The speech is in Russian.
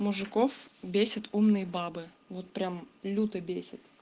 мужиков бесят умные бабы вот прямо люто бесят